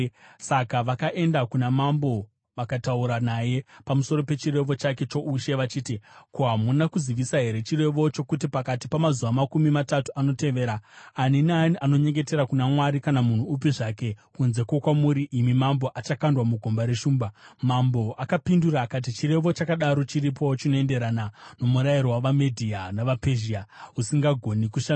Saka vakaenda kuna mambo vakataura naye pamusoro pechirevo chake choushe vachiti, “Ko, hamuna kuzivisa here chirevo chokuti pakati pamazuva makumi matatu anotevera, ani naani anonyengetera kuna mwari kana munhu upi kunze kwokwamuri, imi mambo, achakandwa mugomba reshumba?” Mambo akapindura akati, “Chirevo chakadaro chiripo, chinoenderana nomurayiro wavaMedhia navaPezhia, usingagoni kushandurwa.”